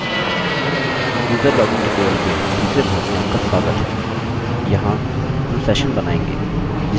user login tutorial के तीसरे भाग में आपका स्वागत है